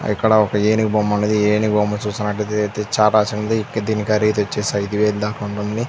ఇక్కడ ఒక ఏనుగు బొమ్మ ఉన్నదీ. ఏనుగు బొమ్మ చూస్తున్నటైతే చాలా చిన్నది దీని ఖరీదు వచ్చేసి ఐదు వేళా దాకా ఉంటుంది.